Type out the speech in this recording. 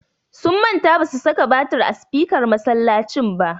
Sun manta ba su saka batir a sifikar masallacin ba.